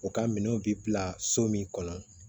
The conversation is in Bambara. U ka minɛnw bi bila so min kɔnɔ